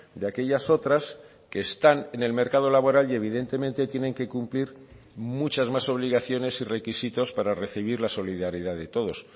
de aquellas otras que están en el mercado laboral y evidentemente tienen que cumplir muchas más obligaciones y requisitos para recibir la solidaridad de todos